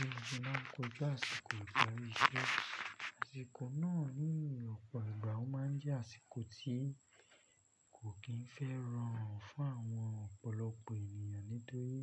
Mo maa n kojú àsìkò ìparí iṣẹ́. Àsìkò náà ní ọ̀pọ̀ ìgbà ó má ń jẹ́ àsìkò tí kò kín fẹ́ràn fún àwọn ọ̀pọ̀lọpọ̀ ènìyàn nítorí